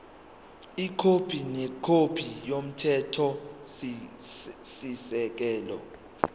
ikhophi nekhophi yomthethosisekelo